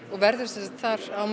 og verður sem sagt þar á